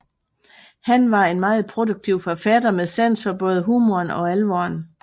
Han var en meget produktiv forfatter med sans for både humoren og alvoren